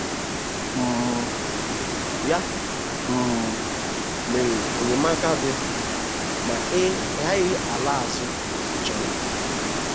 um Ya um mere enyemaka dị, ma ị gaghị ala azụ ịchọ ya.